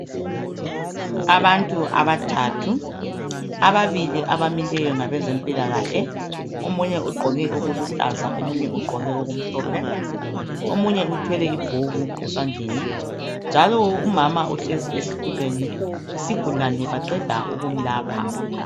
Abantu abathathu .Ababili abamileyo ngabezempilakahle .Omunye ugqoke okuluhlaza omunye ugqoke okumhlophe .Omunye uthwele ibhuku esandleni .Njalo umama uhlezi esitulweni yisigulane baqeda ukumlapha .